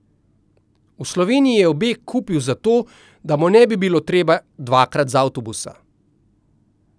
V Sloveniji je obe kupil zato, da mu ne bi bilo treba dvakrat z avtobusa.